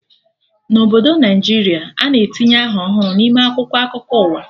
Na Obodo Naijiria, a na-etinye aha ọhụrụ n'ime akwụkwọ akụkọ ụwa